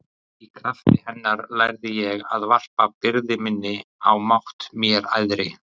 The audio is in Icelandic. Í krafti hennar lærði ég að varpa byrði minni á mátt mér æðri.